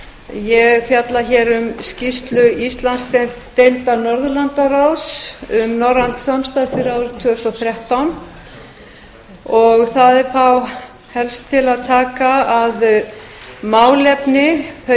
ég fjalla hér um skýrslu íslandsdeildar norðurlandaráðs um norrænt samstarf fyrir árið tvö þúsund og þrettán það er þá helst til að taka að þau